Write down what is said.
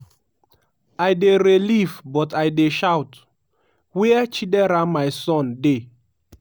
i dey relieve but i dey shout: 'wia chidera my son dey?'."